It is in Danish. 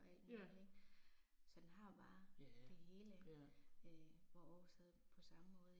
Ja. Ja, ja